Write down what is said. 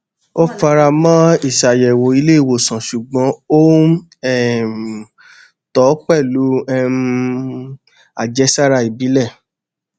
ó fara mọ ìṣàyẹwò ilé ìwòsàn ṣùgbọn ó n um tọ ọ pẹlú um àjẹsára ìbílẹ